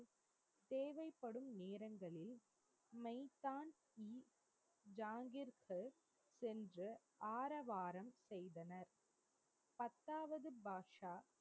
மெய்தான்ஜி ஜாங்கிர்க்கு சென்று ஆரவாரம் செய்தனர். பத்தாவது பாட்ஷா,